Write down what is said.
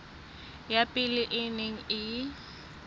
ya pele e neng e